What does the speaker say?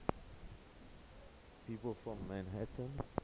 people from manhattan